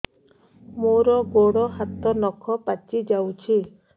ମୋର ଗୋଡ଼ ହାତ ନଖ ପାଚି ଯାଉଛି